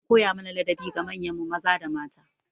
An koya mana ladabi ga manyan mu maza da mata.